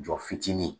Jɔ fitiinin